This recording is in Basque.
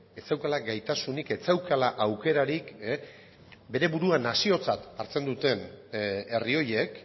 ez zeukala gaitasunik ez zeukala aukerarik bere burua naziotzat hartzen duten herri horiek